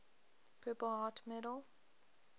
purple heart medal